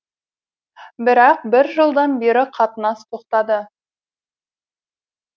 бірақ бір жылдан бері қатынас тоқтады